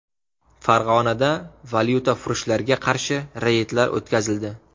Farg‘onada valyutafurushlarga qarshi reydlar o‘tkazildi.